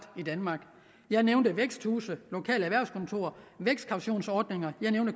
i danmark jeg nævnte væksthuse lokale erhvervskontorer vækstskautionsordninger